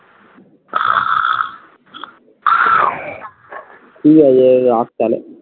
ঠিক আছে রাখ তাহলে